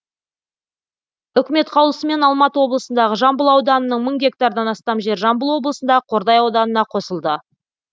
үкімет қаулысымен алматы облысындағы жамбыл ауданының мың гектардан астам жері жамбыл облысындағы қордай ауданына қосылды